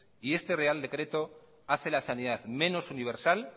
este real decreto hace la sanidad menos universal